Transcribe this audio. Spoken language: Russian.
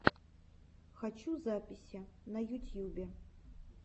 хочу записи на ютьюбе